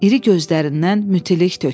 İri gözlərindən mütilik töküldü.